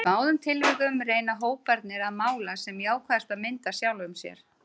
Í báðum tilvikum reyna hóparnir að mála sem jákvæðasta mynd af sjálfum sér.